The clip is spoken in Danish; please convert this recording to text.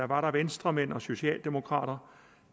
var der venstremænd og socialdemokrater